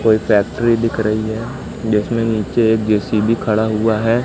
कोई फैक्टरी दिख रही है जिसमें नीचे एक जे_सी_बी खड़ा हुआ है।